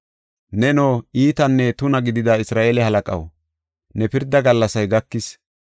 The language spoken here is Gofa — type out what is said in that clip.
“Neno, iitanne tuna gidida Isra7eele halaqaw, ne pirdaa gallasay gakis.